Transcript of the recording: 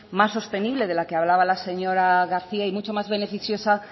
más sostenible de lo que hablaba la señora garcía y mucho más beneficiosa